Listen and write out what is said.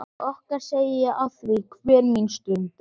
Okkar segi ég afþvíað hver mín stund er þín.